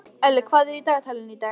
Elli, hvað er í dagatalinu í dag?